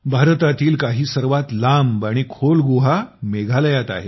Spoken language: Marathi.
भारतातील काही सर्वात लांब आणि खोल गुहा मेघालयात आहेत